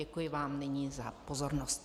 Děkuji vám nyní za pozornost.